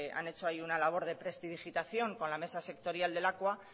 han hecho ahí una labor de prestidigitación con la mesa sectorial de lakua